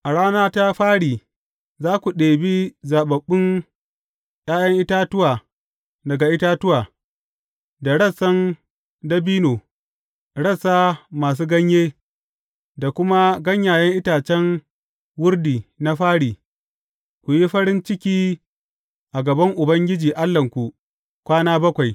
A rana ta fari, za ku ɗebi zaɓaɓɓun ’ya’yan itatuwa daga itatuwa, da rassan dabino, rassa masu ganye, da kuma ganyayen itacen wardi na rafi, ku yi farin ciki a gaban Ubangiji Allahnku, kwana bakwai.